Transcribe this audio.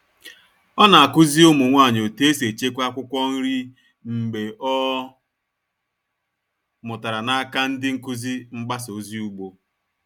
Ọ na-akụzi ụmụ nwanyị otu esi echekwa akwụkwọ nri mgbe ọ mụtara n'aka ndị nkuzi mgbasa ozi ugbo.